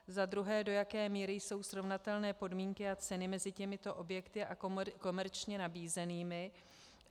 Za druhé, do jaké míry jsou srovnatelné podmínky a ceny mezi těmito objekty a komerčně nabízenými.